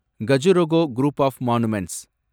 Khajuraho group of monuments